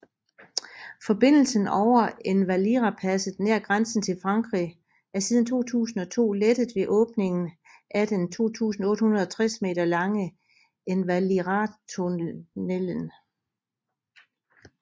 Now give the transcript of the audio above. Forbindelsen over Envalirapasset nær grænsen til Frankrig er siden 2002 lettet ved åbningen af den 2860 meter lange Envaliratunnelen